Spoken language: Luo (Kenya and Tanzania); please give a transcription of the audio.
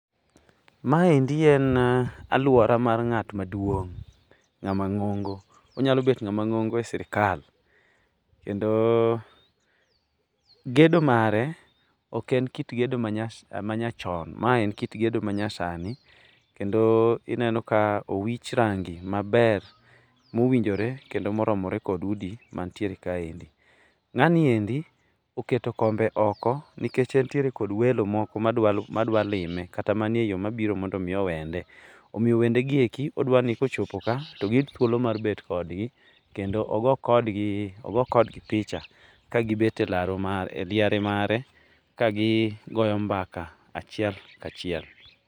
Maendi en alwora mar ng'at maduong', ng'ama ng'ongo onyalo bet ng'ama ng'ongo e sirikal kendo gedo mare oken kit gedo manyachon mae en kit gedo manyasani kendo ineno ka owich rangi maber mowinjore kendo moromore kod udi mantiere kaendi. Ng'aniendi oketo kombe oko nikech entire kod welo moko madwalime kata mane yo mabiro mondo omi owende. Omiyo wendegieki odwa ni kochopo ka to giyud thuolo mar bet kodgi kendo ogo kodgi picha kagibet e liare mare kagigoyo mbaka achiel kachiel.